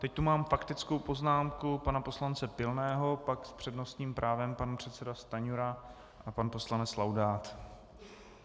Teď tu mám faktickou poznámku pana poslance Pilného, pak s přednostním právem pan předseda Stanjura a pan poslanec Laudát.